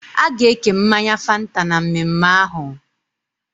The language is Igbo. Aga eke mmanya Fanta na mmemme ahum